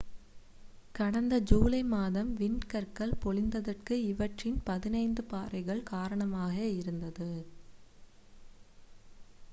கடந்த ஜூலை மாதம் விண்கற்கள் பொழிந்ததற்கு இவற்றின் பதினைந்து பாறைகள் காரணமாக இருந்தது